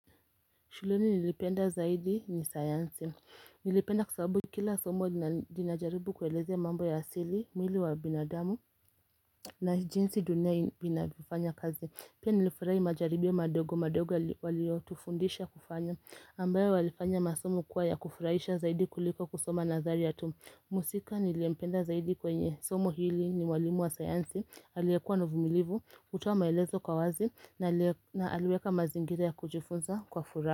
Shuleni nilipenda zaidi ni sayansi, niliipenda kwa sababu kila somo linajaribu kuelezea mambo ya asili, mwili wa binadamu na jinsi dunia inavyofanya kazi. Pia nilifurahi majaribio madogo madogo waliotufundisha kufanya ambayo walifanya masomo kuwa ya kufurahisha zaidi kuliko kusoma nadharia tu mhusika niliyempenda zaidi kwenye somo hili ni mwalimu wa sayansi, aliyekuwa na uvumilivu, hutoa maelezo kwa wazi na aliweka mazingira ya kujifunza kwa furaha.